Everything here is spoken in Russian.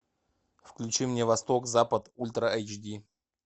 включи мне восток запад ультра айч ди